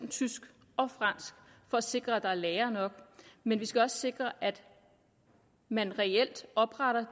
tysk og fransk for at sikre at der er lærere nok men vi skal også sikre at man reelt opretter